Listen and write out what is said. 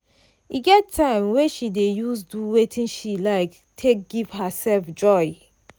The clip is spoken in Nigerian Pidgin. e get time wey she dey use do wetin she like take give herself joy.